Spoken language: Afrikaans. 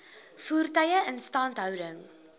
voertuie instandhouding